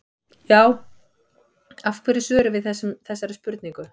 Já, af hverju svörum við þessari spurningu?